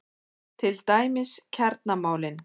Til dæmis kjaramálin?